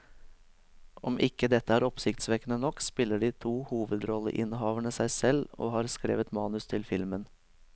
Om dette ikke er oppsiktsvekkende nok, spiller de to hovedrolleinnehaverne seg selv og har skrevet manus til filmen.